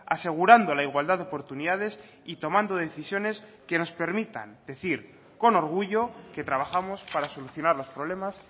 asegurando la igualdad de oportunidades y tomando decisiones que nos permitan decir con orgullo que trabajamos para solucionar los problemas